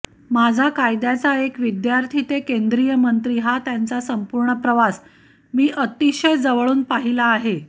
माझा कायद्याचा एक विद्यार्थी ते केंद्रीयमंत्री हा त्यांचा संपूर्ण प्रवास मी अतिशय जवळून पाहिला आहे